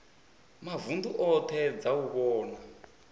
mavunḓu oṱhe dza u vhona